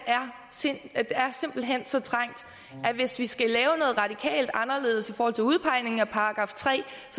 er simpelt hen så trængt at hvis vi skal lave noget radikalt anderledes i forhold til udpegning af § tre